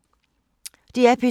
DR P2